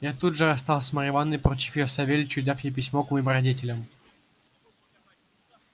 я тут же расстался с марьей ивановной поручив её савельичу и дав ей письмо к моим родителям